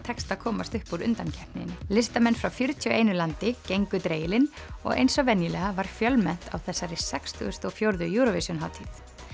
tekst að komast upp úr undankeppninni listamenn frá fjörutíu og einu landi gengu og eins og venjulega var fjölmennt á þessari sextugustu og fjórðu Eurovision hátíð